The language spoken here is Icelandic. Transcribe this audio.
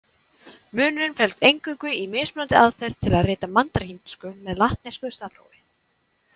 Munurinn felst eingöngu í mismunandi aðferð til að rita mandarínsku með latnesku stafrófi.